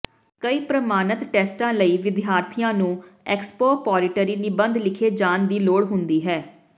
ਕਈ ਪ੍ਰਮਾਣਿਤ ਟੈਸਟਾਂ ਲਈ ਵਿਦਿਆਰਥੀਆਂ ਨੂੰ ਐਕਸਪੋਪੋਰੀਟਰੀ ਨਿਬੰਧ ਲਿਖੇ ਜਾਣ ਦੀ ਲੋੜ ਹੁੰਦੀ ਹੈ